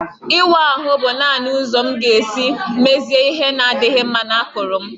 Ịwa ahụ bụ naanị ụzọ m ga-esi mezie ihe na-adịghị mma na akụrụ m